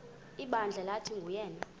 ibandla lathi nguyena